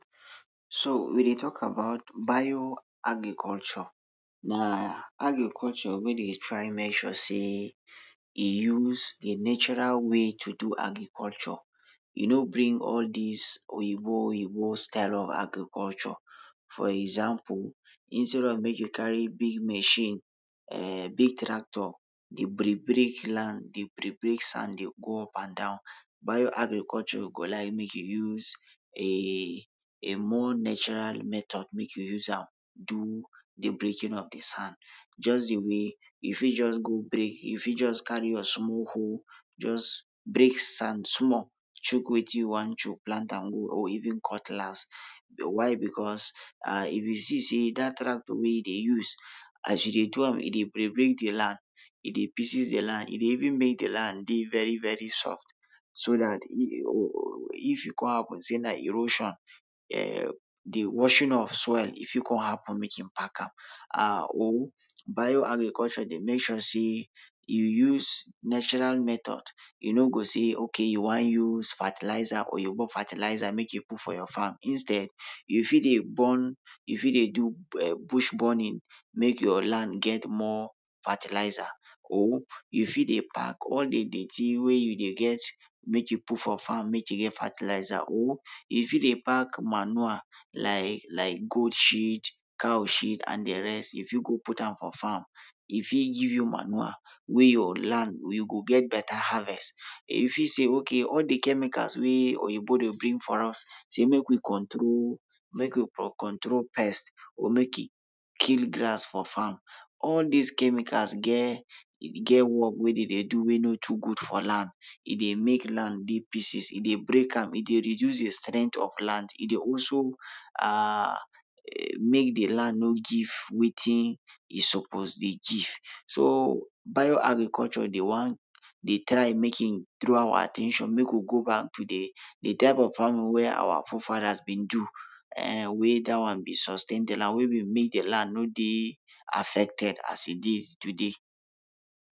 So we dey talk about Bio-agriculture. Na agriculture wey dey try make sure sey e use a natural way to do agriculture. E no bring all dis Oyibo Oyibo style of agriculture. For example, instead of make you carry big machine, um big tractor, dey break break land, dey break break sand dey pour up and down, Bio-agriculture go like make you use um a more natural metod make you use am do de breaking of de sand. Just de way you fit just go break, you fit just go carry your small hoe, just break sand small, chuk wetin you wan chuk, plant am or even cutlass, but why becos, if you see sey dat tractor wey you de use, as you dey do am e dey break break de land, e dey pieces de land, e dey even make de land dey very very soft, so dat if e kon happen sey na erosion, um de washing of soil e fit kon happen make im pack am. or Bio-agriculture de make sure sey you use natural metod, you no go sey ok, you wan use fertiliser, or you remove fertiliser make you put for your farm, instead, you fit dey burn, you fit dey do um bush burning make your land get more fertiliser, or you fit dey pack all de dirty wey you dey get make you put for farm make you get fertiliser or you fit dey pack manure like like goat sheet, cow sheet and de rest, you fit go put am for farm, e fit give you maure wey your land you go get beta harvest You fit sey a ok all de chemicals wey Oyibo dey bring for us sey make e control, make e control pest or make e kill grass for farm, all dis chemicals get, get work wey dey dey do wey e no too good for land. E dey make land dey pieces, e dey break am, e dey reduce de strength of land, e dey also um make de land no give wetin e suppose dey give. So Bio-agriculture dey wan dey try make e draw our at ten tion make we go back to de type of farming wey our fore-fathers bin do, eeh wey dat wan bin sustain den and wey bin make de land no dey affected as e dey today.